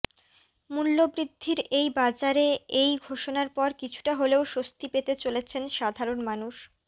মূল্যবৃদ্ধির এই বাজারে এই ঘোষণার পর কিছুটা হলেও স্বস্তি পেতে চলেছেন সাধারণ মানুষ